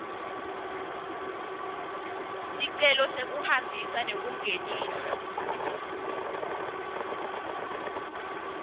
sicelo sekungenisa nekuhambisa